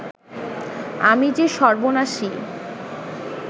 আমি যে সর্বনাশী